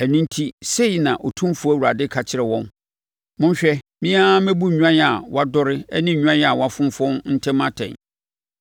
“ ‘Ɛno enti sei na Otumfoɔ Awurade ka kyerɛ wɔn: Monhwɛ, me ara mɛbu nnwan a wɔadɔre ne nnwan a wɔafonfɔn ntam atɛn.